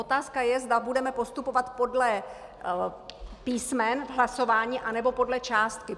Otázka je, zda budeme postupovat podle písmen v hlasování, anebo podle částky.